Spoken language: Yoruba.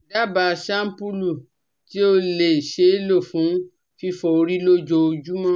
Daba shampulu ti o le ṣee lo fun fifọ ori lojoojumọ